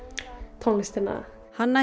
tónlistina hanna